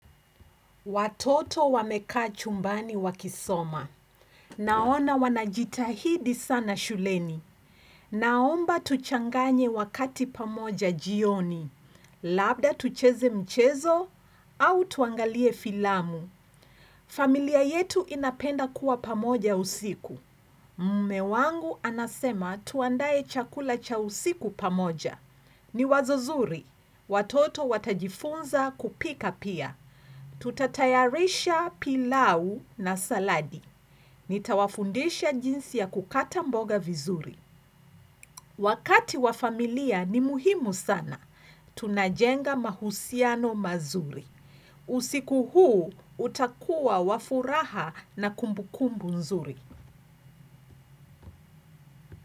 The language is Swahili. Watoto wamekaa chumbani wakisoma. Naona wanajitahidi sana shuleni. Naomba tuchanganye wakati pamoja jioni. Labda tucheze mchezo au tuangalie filamu. Familia yetu inapenda kuwa pamoja usiku. Mme wangu anasema tuandae chakula cha usiku pamoja. Ni wazo zuri. Watoto watajifunza kupika pia. Tutatayarisha pilau na saladi Nitawafundisha jinsi ya kukata mboga vizuri. Wakati wa familia ni muhimu sana Tunajenga mahusiano mazuri. Usiku huu utakuwa wa furaha na kumbukumbu nzuri.